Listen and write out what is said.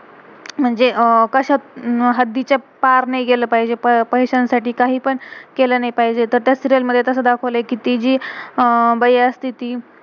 म्हणजे कश्यात अह हद्दीच्या पार नाही गेलं पाहिजे, पई~पैस्यां-साठी कही पण केलं नाही पाहिजे. तर त्या सीरियल serial, मधे कसं दाखवलय कि, ती जी अह बाई असते ती,